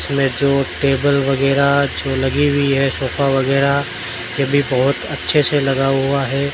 इसमें जो टेबल वगैरा जो लगी हुई है सोफा वगैरा येभी बहोत अच्छे से लगा हुआ है।